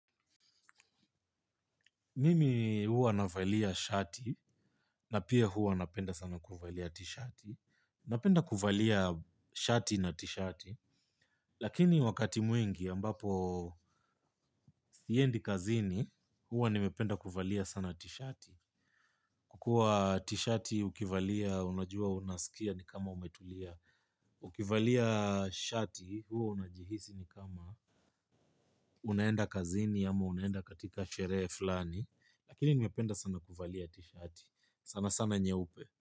Mimi huwa na valia shati na pia huwa napenda sana kuvalia t-shati. Napenda kuvalia shati na t-shati. Lakini wakati mwingi ambapo siendi kazini huwa nimependa kuvalia t-shati. Kukuwa t-shati ukivalia unajua unasikia ni kama umetulia. Ukivalia shati huwa unajihisi ni kama unaenda kazini ama unaenda katika sherehe fulani. Lakini nimependa sana kuvalia t-shati. Sana sana nyeupe.